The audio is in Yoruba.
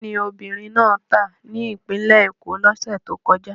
Kí ni obìnrin náà tà ní Ìpínlẹ̀ Èkó lọ́sẹ̀ tó kọjá?